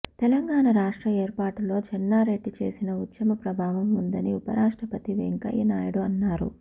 తెలంగాణ రాష్ట్ర ఏర్పాటులో చెన్నారెడ్డి చేసిన ఉద్యమ ప్రభావం ఉందని ఉపరాష్ట్రపతి వెంకయ్య నాయడు అన్నారు